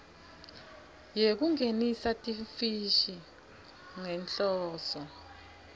yekungenisa timfishi ngenhloso